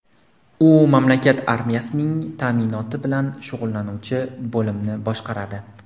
U mamlakat armiyasining ta’minoti bilan shug‘ullanuvchi bo‘limni boshqaradi.